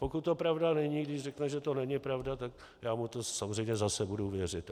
Pokud to pravda není, když řekne, že to není pravda, tak já mu to samozřejmě zase budu věřit.